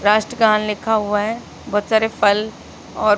राष्ट्रगान लिखा हुआ है बहोत सारे फल और--